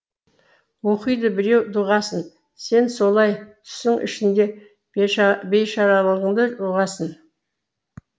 оқиды біреу дұғасын сен солай түсің ішінде бейшаралығыңды ұғасың